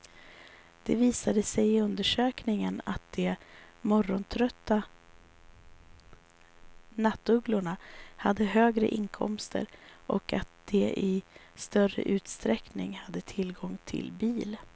Det visade sig i undersökningen att de morgontrötta nattugglorna hade högre inkomster och att de i större utsträckning hade tillgång till bil.